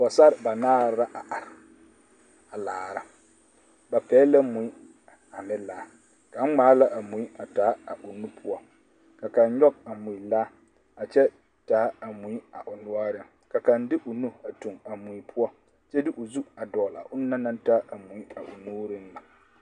Pɔɡesare banaare la a are a laara ba pɛɡele la mui ane laa kaŋa ŋmaa la a mui a taa ɡaoŋo poɔ ka kaŋ nyɔɡe a mui laa a kyɛ taa a mui a o noɔreŋ ka kaŋ de o nu tuɡi a mui poɔ kyɛ de zu a dɔɔle a onaŋ na taa a mui a o nuuriŋ na.